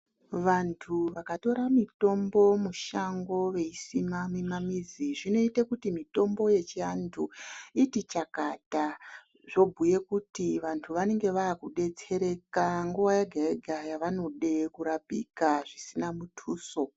Vantu vakatora mitombo mushango veisima mimamizi zvinoita kuti zvinoita kuti mitombo yechiantu iti chakata zvobhuye kuti vantu vanenge vakudetsereka nguwa yega yega yavanode kurapika zvisina mutuso